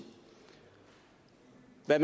at